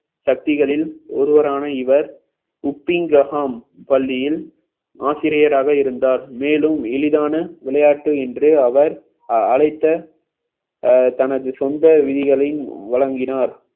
சக்திகளில் ஒருவரான இவர் Uppingham பள்ளியில் ஆசிரியராக இருந்தார் மேலும் எளிதான விளையாட்டு என்று அவர் அழைத்த அஹ் தனது சொந்த விதிகளையும் வழங்கினார்